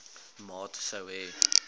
maat sou hê